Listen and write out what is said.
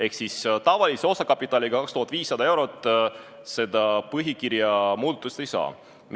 Ehk siis tavalise osakapitaliga, milleks on 2500 eurot, seda põhikirja muudatust teha ei saa.